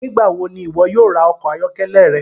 Nigbawo ni iwọ yóò ra ọkọ ayọkẹlẹ rẹ?